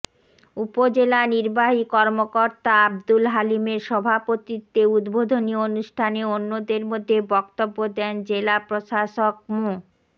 উপজেলা নির্বাহী কর্মকর্তা আব্দুল হালিমের সভাপতিত্বে উদ্বোধনী অনুষ্ঠানে অন্যদের মধ্যে বক্তব্য দেন জেলা প্রশাসক মো